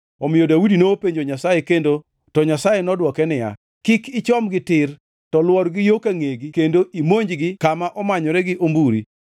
omiyo Daudi nopenjo Nyasaye kendo, to Nyasaye nodwoke niya, “Kik ichomgi tir, to lwor gi yo ka ngʼegi kendo imonjgi kama omanyore gi omburi.